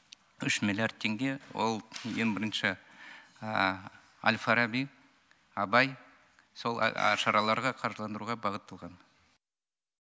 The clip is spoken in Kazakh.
үш миллиард теңге ол ең бірінші әл фараби абай сол шараларға қаржыландыруға бағытталған